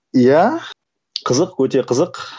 ия қызық өте қызық